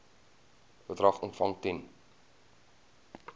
bedrag ontvang ten